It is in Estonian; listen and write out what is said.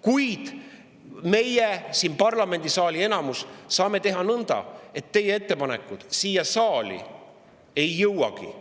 kuid meie siin, parlamendisaali enamus, saame teha nõnda, et teie ettepanekud siia saali ei jõuagi!